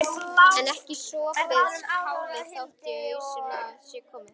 En ekki er sopið kálið þótt í ausuna sé komið.